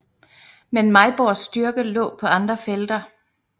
Men Mejborgs styrke lå på andre felter